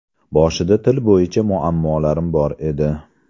Boshida til bo‘yicha muammolarim bor edi.